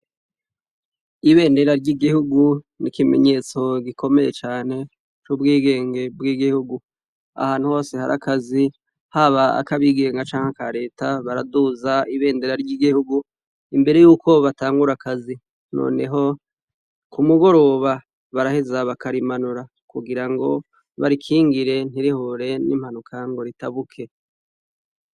Ibendera ry'igihugu nikimenyetso gikomeye cane coguha ingenge ry'igihugu, ahantu hose hari akazi haba akabigenga canke aka reta baraduza ibendera ry'igihugu imbere yuko batangura akazi, noneho kumugoroba baraheza bakarimanura kugirango barikingire ntirihure ni mpanuka ngo ritabuke.